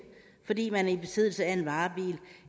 fordi man er i besiddelse af en varebil